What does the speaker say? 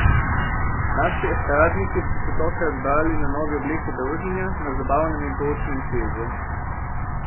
Naši estradniki so se tokrat zbrali na novi obliki druženja, na zabavnem in poučnem kvizu.